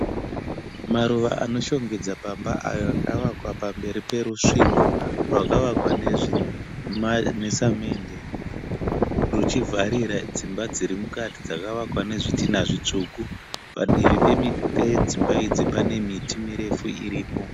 Maruva anoshongedza pamba ayo akavakwa pamberi perusvingo rwakavakwa nesemende rwuchivharira dzimba dziri mukati dzakavakwa nezvidhinha zvitsvuku. Padivi pedzimba idzi pane miti mirefu iripo.